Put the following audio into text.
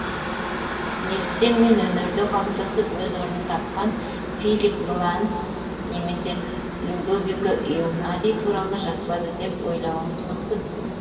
неліктен мен өнерде қалыптасып өз орнын тапқан филип гласс немесе людовико эунади туралы жазбады деп ойлуыңыз мүмкін